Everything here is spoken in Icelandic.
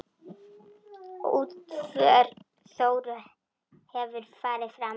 Útför Þóru hefur farið fram.